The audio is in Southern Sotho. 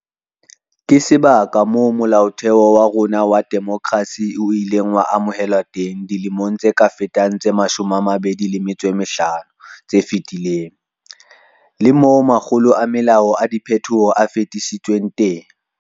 Ke sebaka moo Molaotheo wa rona wa demokerasi o ileng wa amohelwa teng dilemong tse ka fetang tse 25 tse fetileng, le moo makgolo a melao ya diphethoho e fetisitsweng teng.